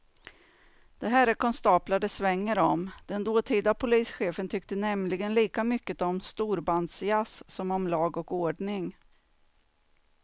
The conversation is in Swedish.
Det här är konstaplar det svänger om, den dåtida polischefen tyckte nämligen lika mycket om storbandsjazz som om lag och ordning.